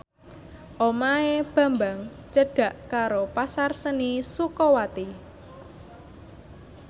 omahe Bambang cedhak karo Pasar Seni Sukawati